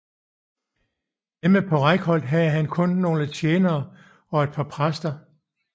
Hjemme på Reykholt havde han kun nogle tjenere og et par præster